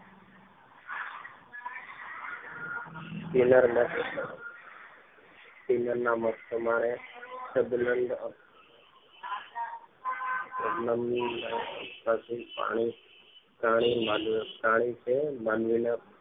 ટેલરના Taylor ના મત પ્રમાણે શબ્દ શબ્દ પાસે પ્રાણી માનવી પ્રાણી છે માનવી ના